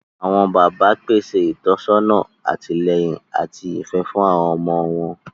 Awọn bàbà pèsè ìtọ́nisọ́nà, àtìlẹ́yìn, ati ifẹ fún àwọn ọmọ wọn